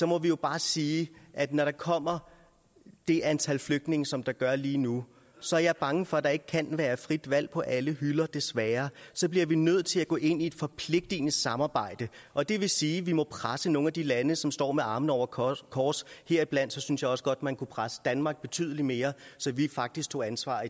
må vi jo bare sige at når der kommer det antal flygtninge som der gør lige nu så er jeg bange for at der ikke kan være frit valg på alle hylder desværre så bliver vi nødt til at gå ind i et forpligtende samarbejde og det vil sige at vi må presse nogle af de lande som står med armene over kors kors heriblandt synes jeg også godt man kunne presse danmark betydelig mere så vi faktisk tog ansvar